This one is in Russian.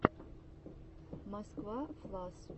москва флас